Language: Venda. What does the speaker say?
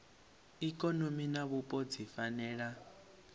ikonomi na vhupo dzi fanela